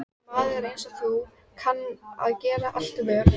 Maður einsog þú kann að gera allt vel.